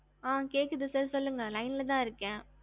அ கேக்குது sir சொல்லுக line இருக்க